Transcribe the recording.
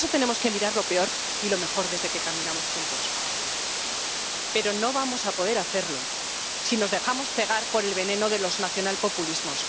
Por eso tenemos que mirar lo peor y lo mejor desde que caminamos juntos. Pero no vamos a poder hacerlo si nos dejamos cegar por el veneno de los nacionalpopulismos.